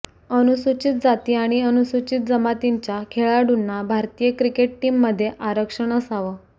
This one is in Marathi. अनुसुचित जाती आणि अनुसुचित जमातींच्या खेळाडूंना भारतीय क्रिकेट टीममध्ये आरक्षण असावं